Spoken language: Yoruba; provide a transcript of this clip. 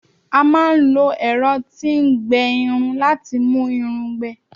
a ma n lo ẹrọ ti n gbẹ Irun lati mu Irun gbẹ